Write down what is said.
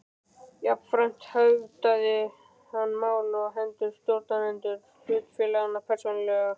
Jafnframt höfðað hann mál á hendur stjórnendum hlutafélaganna persónulega.